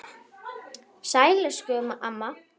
Sæl elsku amma.